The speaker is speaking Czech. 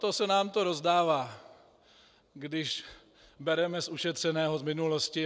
To se nám to rozdává, když bereme z ušetřeného z minulosti!